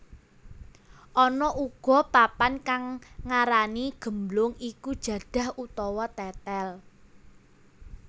Ana uga papan kang ngarani gemblong iku jadah utawa tetel